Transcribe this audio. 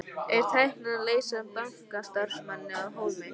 Er tæknin að leysa bankastarfsmanninn af hólmi?